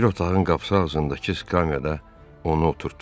Bir otağın qapısı ağzındakı skamiyada onu oturtdular.